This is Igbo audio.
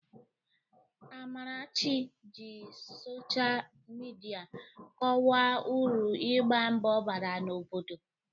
Amarachi ji sochaa midia kọwaa uru igba mbọ bara n'obodo.